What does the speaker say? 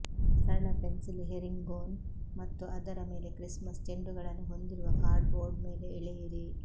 ಸರಳ ಪೆನ್ಸಿಲ್ ಹೆರಿಂಗೊನ್ ಮತ್ತು ಅದರ ಮೇಲೆ ಕ್ರಿಸ್ಮಸ್ ಚೆಂಡುಗಳನ್ನು ಹೊಂದಿರುವ ಕಾರ್ಡ್ಬೋರ್ಡ್ ಮೇಲೆ ಎಳೆಯಿರಿ